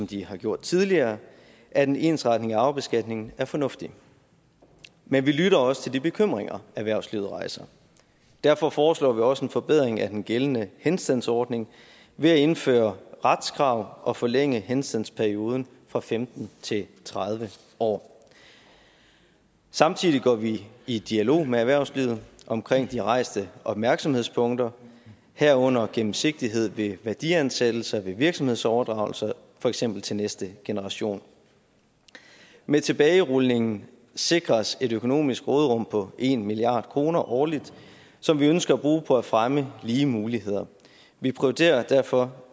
de har gjort tidligere at en ensretning af arvebeskatningen er fornuftig men vi lytter også til de bekymringer erhvervslivet rejser derfor foreslår vi også en forbedring af den gældende henstandsordning ved at indføre retskrav og forlænge henstandsperioden fra femten til tredive år samtidig går vi i dialog med erhvervslivet om de rejste opmærksomhedspunkter herunder gennemsigtighed ved værdiansættelse ved virksomhedsoverdragelse for eksempel til næste generation med tilbagerulningen sikres et økonomisk råderum på en milliard kroner årligt som vi ønsker at bruge på at fremme lige muligheder vi prioriterer derfor